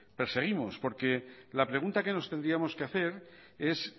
perseguimos la pregunta que nos tendríamos que hacer es